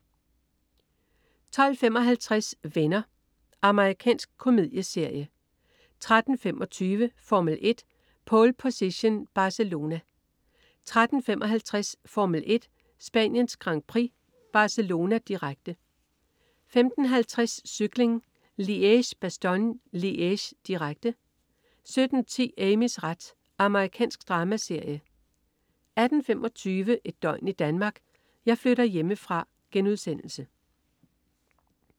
12.55 Venner. Amerikansk komedieserie 13.25 Formel 1: Pole Position. Barcelona 13.55 Formel 1: Spaniens Grand Prix. Barcelona, direkte 15.50 Cykling: Liège-Bastogne-Liège, direkte 17.10 Amys ret. Amerikansk dramaserie 18.25 Et døgn i Danmark: Jeg flytter hjemmefra*